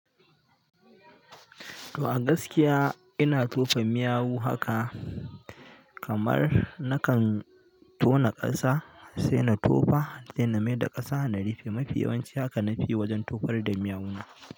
To a gaskiya ina tofa miyau haka kamar nakan tona ƙasa sai na tofa sai na mayar da ƙasa na rufe. Mafi yawanci haka na fiyi wajen tofar da miyau na.